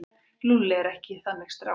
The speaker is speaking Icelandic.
Lúlli er ekki þannig strákur.